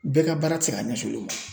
Bɛɛ ka baara te se ka ɲɛsi oluli ma